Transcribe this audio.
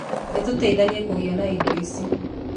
Nĩtũteithanie kũgĩa na indo icio.